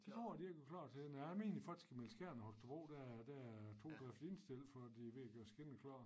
Det tror jeg de ikke var klar til nej jeg mener faktisk i mellem Skjern og Holstebro der er der er togene i hvert fald indstillet for at de ved at gøre skinner klar